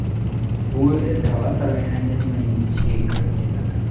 U eskalator mexanizmining ichiga kirib ketadi.